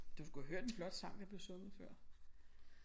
Du skulle have hørt en flot sang der blev sunget før